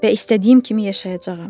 Və istədiyim kimi yaşayacağam.